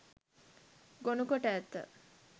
ගොනුකොට ඇත.